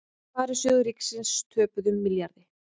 Sparisjóðir ríkisins töpuðu milljarði